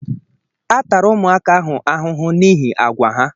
A tara ụmụaka ahụ ahụhụ n'ihi àgwà ha